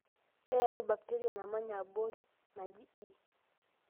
Eyau bakiteria namanya abori naji E.